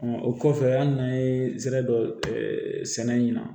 o kɔfɛ an n'an ye sɛnɛ dɔ sɛnɛ ɲina